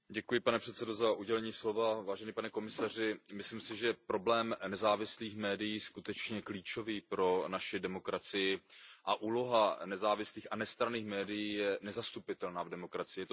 Pane předsedající, pane komisaři, myslím si, že problém nezávislých médií je skutečně klíčový pro naši demokracii a úloha nezávislých a nestranných médií je nezastupitelná v demokracii.